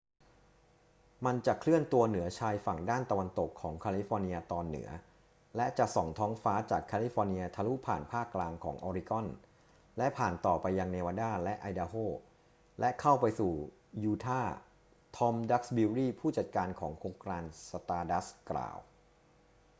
มันจะเคลื่อนตัวเหนือชายฝั่งด้านตะวันตกของแคลิฟอร์เนียตอนเหนือและจะส่องท้องฟ้าจากแคลิฟอร์เนียทะลุผ่านภาคกลางของออริกอน และผ่านต่อไปยังเนวาดาและไอดาโฮ และเข้าไปสู่ยูทาห์ ทอม ดักซ์บิวรี ผู้จัดการของโครงการ stardust กล่าว